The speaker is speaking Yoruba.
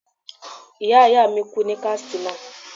Ìyá ìyá mi kú ní Katsina.